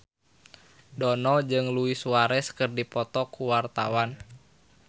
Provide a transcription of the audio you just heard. Dono jeung Luis Suarez keur dipoto ku wartawan